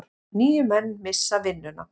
Níu menn missa vinnuna.